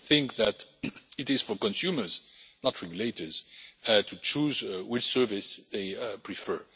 We think that it is for consumers, not regulators, to choose which service they prefer.